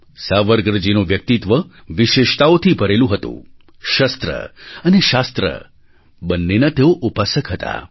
સાવરકરજીનું વ્યક્તિત્વ વિશેષતાઓથી ભરેલું હતું શસ્ત્ર અને શાસ્ત્ર બંનેના તેઓ ઉપાસક હતા